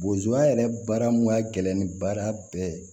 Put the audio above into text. Bozoy yɛrɛ baara mun ka gɛlɛn ni baara bɛɛ ye